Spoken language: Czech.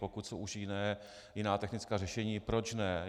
Pokud jsou už jiné, jiná technická řešení, proč ne.